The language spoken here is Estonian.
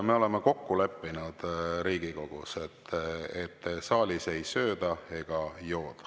Me oleme kokku leppinud Riigikogus, et saalis ei sööda ega jooda.